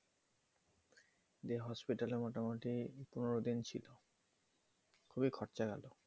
যে hospital এ মোটামোটি পনের দিন ছিলো খুবই খরচা গেলো